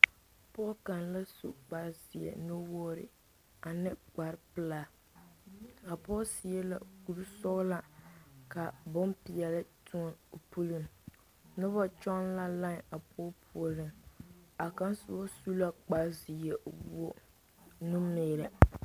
Pɔge kaŋ la su kparezeɛ nuwogri ane kparrepelaa a pɔge seɛ la kuri sɔglaa ka bompeɛle toɔ o puliŋ noba kyɔŋ la lae a pɔge puoriŋ a kaŋa soba su la kparezeɛ wogo nu meelɛ.